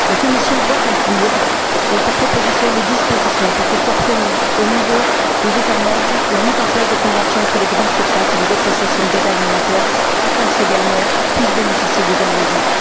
La Commission doit inclure, dans sa proposition, des dispositions pour que soit promue, au niveau des États membres, la mise en place de conventions entre les grandes surfaces et les associations d'aide alimentaire, afin que ces dernières puissent bénéficier des invendus.